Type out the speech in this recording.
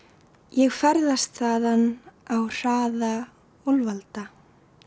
ég ferðast þaðan á hraða úlf alda